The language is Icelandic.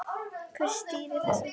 Hver stýrir þessu?